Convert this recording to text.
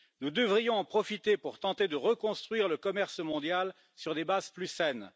Nous devrions en profiter pour tenter de reconstruire le commerce mondial sur des bases plus saines.